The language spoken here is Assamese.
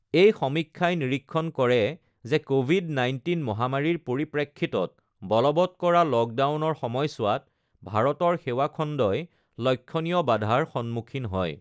এই সমীক্ষাই নিৰীক্ষণ কৰে যে ক'ভিড ১৯ মহামাৰীৰ পৰিপ্ৰেক্ষিতত বলবৎ কৰা লকডাউনৰ সময়ছোৱাত ভাৰতৰ সেৱা খণ্ডই লক্ষ্যণীয় বাধাৰ সন্মুখীন হয়।